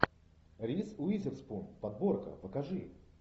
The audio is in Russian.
риз уизерспун подборка покажи